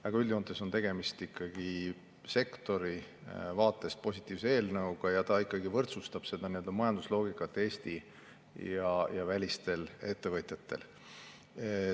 Aga üldjoontes on tegemist ikkagi sektori vaatest positiivse eelnõuga, mis võrdsustab majandusloogikat Eesti ja välistel ettevõtjatel.